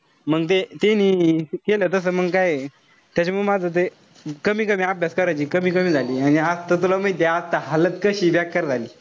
मंग ते त्यांनी केल तस मंग काय. त्याच्यामुळं माझं ते कमी-कमी अभ्यास करायचं. कमी-कमी झाली. आणि आता त तुला माहितीये. आता कशी बेक्कार झाली.